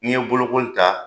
N'i ye bolokoli ta